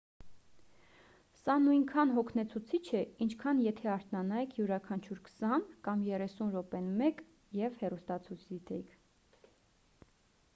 սա նույնքան հոգնեցուցիչ է ինչքան եթե արթնանայիք յուրաքանչյուր քսան կամ երեսուն րոպեն մեկ և հեռուստացույց դիտեիք